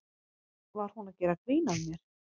Var hún að gera grín að mér?